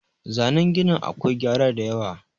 zanen ginin akwai gyara da yawa